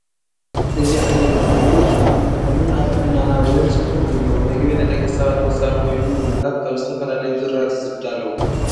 እዚ ዓይነት ምግቢ ብጣዕሚ ጥዑሙን ኣብ ጥዕናና እውን ፅቡቅ እዩ። ምግቢ ንደቂ ሰባት ወሳኒ ኮይኑ ምግብታት ካብ ዝተፈላለዩ ዝራእቲ ዝዳለው ።